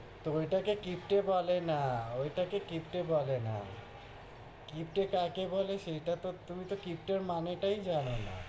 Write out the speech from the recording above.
তহ ওইটাকে কিপ্টে বলে না, ওইটাকে কিপ্টে বলে না কিপ্টে কাকে বলে সেইটা তো তুমি তো কিপ্টের মানেটাই জানোনা,